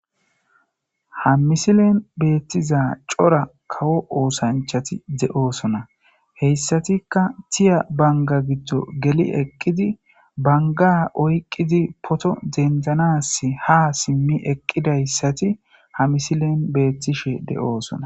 ha misilen beettiza cora kawo oosanchati de7oosona heyssatikka tiya banga giddo geli eqqidi banga oyqqidi poto dendanas ha simmi eqqidayssati ha misilen beettishe de7oosona